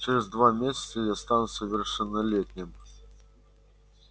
через два месяца я стану совершеннолетним